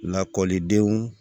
Lakɔlidenw